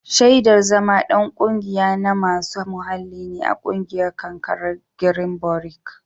Shaidar zama ɗan ƙungiya na masu muhalli ne a ƙungiyar karkarar girinbirok.